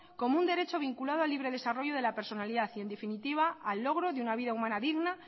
como un derecho vinculado al libre desarrollo de la personalidad y en definitiva al logro de una vida humana digna